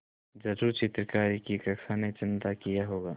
ज़रूर चित्रकारी की कक्षा ने चंदा किया होगा